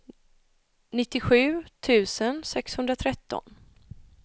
nittiosju tusen sexhundratretton